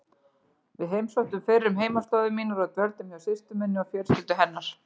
Við heimsóttum fyrrum heimaslóðir mínar og dvöldum hjá systur minni og fjölskyldu hennar.